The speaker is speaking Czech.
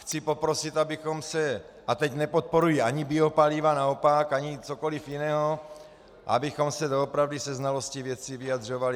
Chci poprosit, abychom se, a teď nepodporuji ani biopaliva, naopak, ani cokoliv jiného, abychom se doopravdy se znalostí věci vyjadřovali.